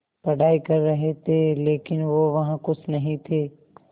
पढ़ाई कर रहे थे लेकिन वो वहां ख़ुश नहीं थे